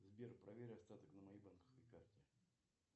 сбер проверь остаток на моей банковской карте